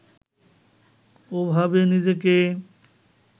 ওভাবে নিজেকে